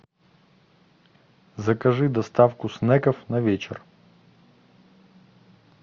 закажи доставку снеков на вечер